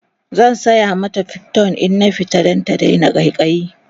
zan saya mata priton in na fita Dan ta Daina ƙaiƙayi